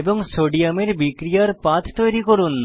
এবং সোডিয়াম এর বিক্রিয়ার পাথ তৈরী করুন